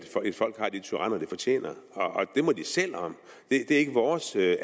et folk har de tyranner det fortjener det må de selv om det er ikke vores